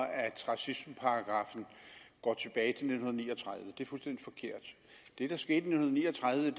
at racismeparagraffen går tilbage til nitten ni og tredive det er fuldstændig forkert det der skete i nitten ni og tredive